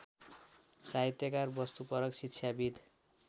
साहित्यकार वस्तुपरक शिक्षाविद्